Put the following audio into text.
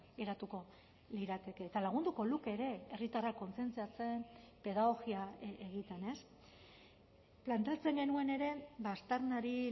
geratuko lirateke eta lagunduko luke ere herritarrak kontzientziatzen pedagogia egiten planteatzen genuen ere aztarnari